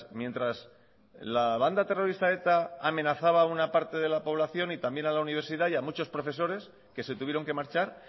mientras la banda terrorista eta amenazaba a una parte de la población y también a la universidad y a muchos profesores que se tuvieron que marchar